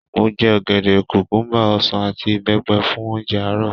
Mo jẹ ọ̀gẹ̀dẹ̀, kùkúbà, ọsàn àti ìbẹ́pẹ fún oúnjẹ àárọ̀.